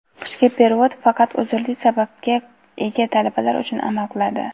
Qishki perevod faqat uzrli sababga ega talabalar uchun amal qiladi.